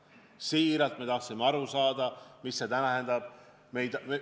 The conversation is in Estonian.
Me siiralt tahtsime aru saada, mida see tähendab.